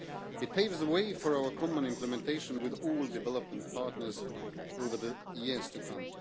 It paves the way for common implementation with all development partners over the years to come.